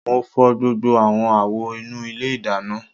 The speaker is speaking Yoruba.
Mo fọ gbogbo awọn awo inu ile idana